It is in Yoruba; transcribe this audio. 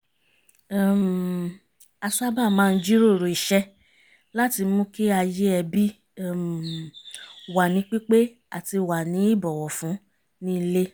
um a sábà maá ń jíròrò iṣẹ́ láti mú kí ayé ẹbí um wà ní pípé àti wà ní ìbọ̀wọ̀fún ní ilé